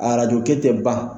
A arajokɛ tɛ ban